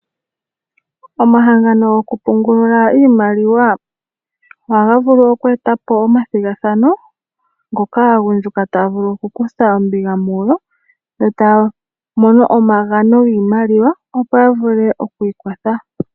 Omahangano gokupungulila iimaliwa ohaga vulu oku etapo omathigathano ngono aagundjuka taya vulu oku kutha ombinga mugo yo taya mono omagano giimaliwa opo ya vule okwii kwatha.